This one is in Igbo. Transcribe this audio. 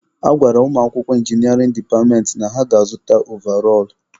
A gwara ụmụakwụkwọ inginịarịn departmentị na ha ga-azụta ovarọl.